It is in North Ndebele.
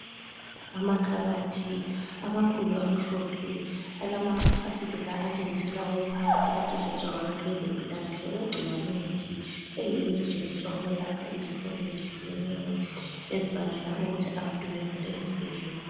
Amakhabathi, amakhulu amhlophe, alamafasitela atshengisela okuphakathi asetshenziswa ngabantu bezempilakahle ukugcina imithi, eyiyo esetshenziswa ukwelapha izifo ezihlukeneyo ezibangela ukuthi abantu begule ezibhedlela.